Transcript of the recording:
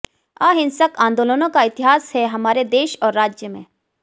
अहिंसक आंदोलनों का इतिहास है हमारे देश और राज्य में